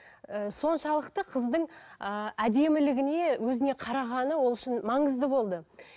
і соншалықты қыздың ыыы әдемлігіне өзіне қарағаны ол үшін маңызды болды